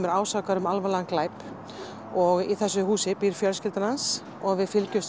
er ásakaður um alvarlegan glæp í þessu húsi býr fjölskylda hans og við fylgjumst